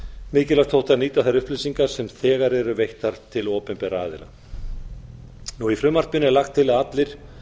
mikilvægt þótti að nýta þær upplýsingar sem þegar eru veittar til opinberra aðila í frumvarpinu er lagt til að allir